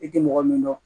I tɛ mɔgɔ min dɔn